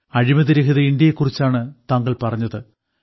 അഴിമതിരഹിത ഇന്ത്യയെക്കുറിച്ചാണ് താങ്കൾ പറഞ്ഞത്